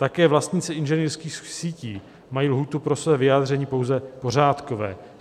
Také vlastníci inženýrských sítí mají lhůtu pro své vyjádření pouze pořádkové.